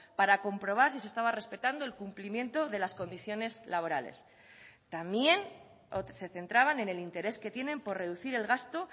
para comprobar si se estaba respetando el cumplimiento de las condiciones laborales también se centraban en el interés que tienen por reducir el gasto